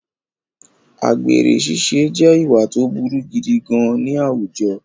Àgbèrè ṣiṣẹ́ je ìwà tó burú gidi gan-an ní àwùjọ